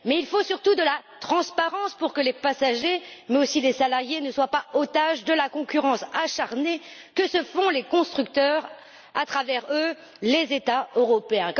Mais il faut surtout de la transparence pour que les passagers, mais aussi les salariés, ne soient pas otages de la concurrence acharnée que se livrent les constructeurs et, à travers eux, les États européens.